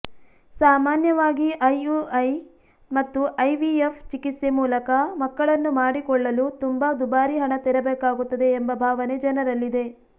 ಸಾಮಾನ್ಯವಾಗಿ ಐಯುಐ ಮತ್ತು ಐವಿಎಫ್ ಚಿಕಿತ್ಸೆ ಮೂಲಕ ಮಕ್ಕಳನ್ನು ಮಾಡಿಕೊಳ್ಳಲು ತುಂಬಾ ದುಬಾರಿ ಹಣ ತೆರಬೇಕಾಗುತ್ತದೆ ಎಂಬ ಭಾವನೆ ಜನರಲ್ಲಿದೆ